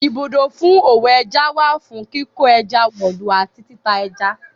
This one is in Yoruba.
Ibùdó fún òwò ẹja wà fún kíkó ẹja wọ̀lú àti tita ẹja.